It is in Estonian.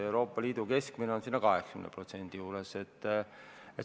Euroopa Liidu keskmine on 80% juures.